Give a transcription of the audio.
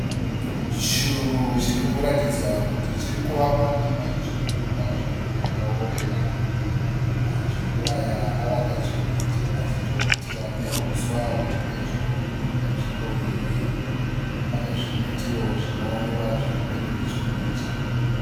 Churu chiri kuratidzwa kuti chiri kuvakwa nemajuru panzvimbo yakaorera. Majuru aya avaka churu ichi achitoputira neuswa huri pedyo nenzvimbo iyi. Pane zvimitiwo zvinoonekwa zviri pedo nechuru ichi.